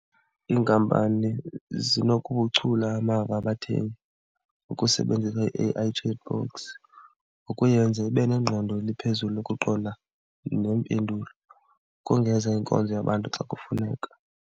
Iinkampani zinokubuchula amava abathengi ngokusebenzisa i-A_I -chatbots ukuyenza ibe nengqondo eliphezulu ukuqonda neempendulo, ukongeza inkonzo yabantu xa kufuneka.